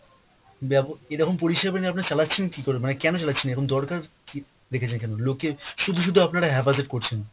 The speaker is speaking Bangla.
ব্যাব~ এরকম পরিষেবা নিয়ে আপনারা চালাচ্ছেন কী করে? মানে কেন চালাচ্ছেন? এরকম দরকার কী রেখেছেন কেন? লোককে শুধু শুধু আপনারা haphazard করছেন।